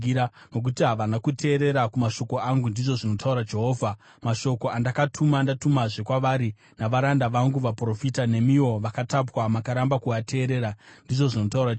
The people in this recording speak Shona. Nokuti havana kuteerera kumashoko angu,” ndizvo zvinotaura Jehovha, “mashoko andakatuma ndatumazve kwavari navaranda vangu vaprofita. Nemiwo vakatapwa makaramba kuateerera,” ndizvo zvinotaura Jehovha.